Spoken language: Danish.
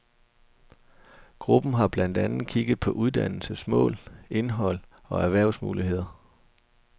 Gruppen har blandt andet kigget på uddannelsens mål, indhold og erhvervsmuligheder.